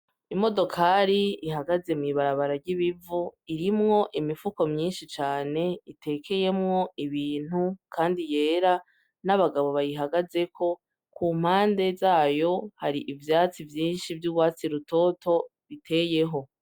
Imodokari ihagaze mw'ibarabara ry'ibivu irimwo imifuko myinshi cane itekeyemwo ibintu, kandi yera n'abagabo bayihagazeko ku mpande zayo hari ivyatsi vyinshi vy'ubwatsi rutoto biteyeho.